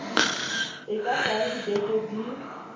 e ka tsaya dibeke di